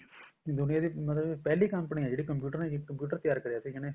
ਦੁਨੀਆ ਦੀ ਮਤਲਬ ਪਹਿਲੀ company ਆ ਜਿਹੜਾ computer ਬਣਾਇਆ computer ਤਿਆਰ ਕਰਿਆ ਸੀ ਜਿਹਨੇ